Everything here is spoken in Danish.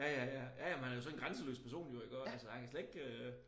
Ja ja ja ja ja men han er jo sådan en grænseløs person jo iggå altså han kan slet ikke øh